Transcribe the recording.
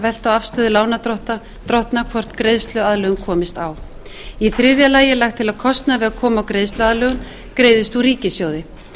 á afstöðu lánardrottna hvort greiðsluaðlögun komist á þriðja lagt er til að kostnaður við að koma á greiðsluaðlögun greiðist úr ríkissjóði